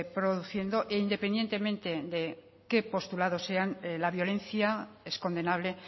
produciendo e independientemente de qué postulado sean la violencia es condenable